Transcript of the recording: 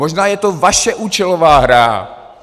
Možná je to vaše účelová hra.